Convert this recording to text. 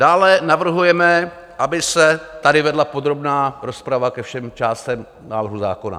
Dále navrhujeme, aby se tady vedla podrobná rozprava ke všem částem návrhu zákona.